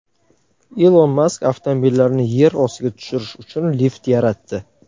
Ilon Mask avtomobillarni yer ostiga tushirish uchun lift yaratdi .